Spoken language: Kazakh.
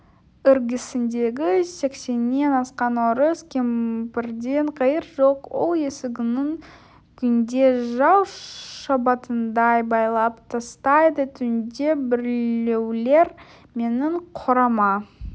іргесіндегі сексеннен асқан орыс кемпірден қайыр жоқ ол есігін күнде жау шабатындай байлап тастайды түнде біреулер менің қорама